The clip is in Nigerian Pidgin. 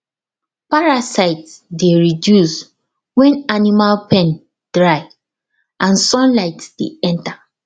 parasite dey reduce when animal pen dry and sunlight dey enter